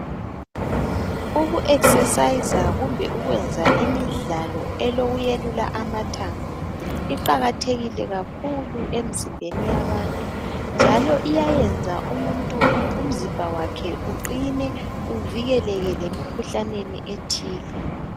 Uku exerciser kumbe ukwenza imidlalo elokuyelula amathambo iqakathekile kakhulu emzimbeni yabantu njalo iyayenza umuntu umzimba wakhe uqine uvikeleke lemikhuhlaneni ethile.